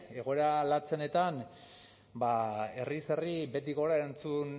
egoera latzenetan herriz herri beti gora erantzun